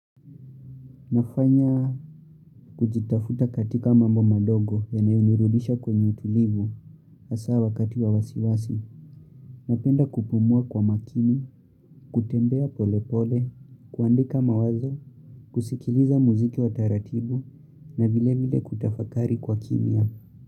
Nafanya kujitafuta katika mambo madogo yanayonirudisha kwenye utulivu hasawa wakati wa wasiwasi. Napenda kupumua kwa makini, kutembea pole pole, kuandika mawazo, kusikiliza muziki wa taratibu na vile vile kutafakari kwa kimya.